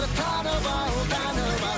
танып ал танып ал